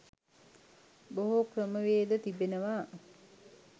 බොහෝ ක්‍රමවේද තිබෙනවා.